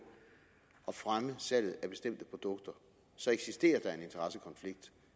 at fremme salget af bestemte produkter eksisterer der en interessekonflikt